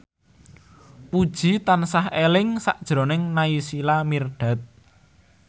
Puji tansah eling sakjroning Naysila Mirdad